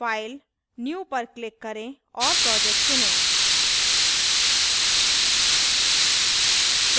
file new पर click करें और project चुनें